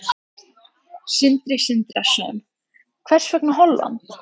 Sindri Sindrason: Hvers vegna Holland?